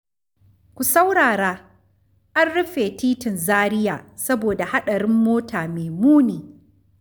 Ku saurara! An rufe titin Zaria saboda haɗarin mota mai muni.